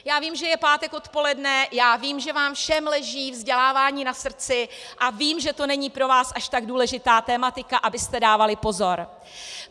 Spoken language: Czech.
Já vím, že je pátek odpoledne, a vím, že vám všem leží vzdělávání na srdci, a vím, že to není pro vás až tak důležitá tematika, abyste dávali pozor.